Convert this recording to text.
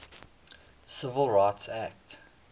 civil rights act